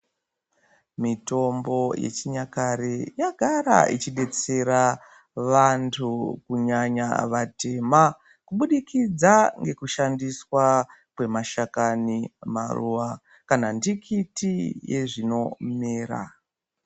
Mitombo yechinyakare yaidetsera vantu kunyanya vatema kubudikidza ngekushandiswa mashakani maruwa kana ndikuti yezvinomera.